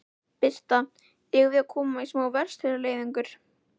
Birta: Eigum við að koma í smá verslunarleiðangur?